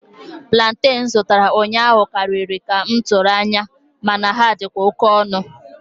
Plantain m zụtara ụnyaahụ karịrị ka m tụrụ anya, mana ha dịkwa oke ọnụ.